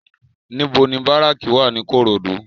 NIbò ni báráki wá ni Ikorodu?